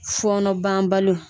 Fɔnɔ banbaliw.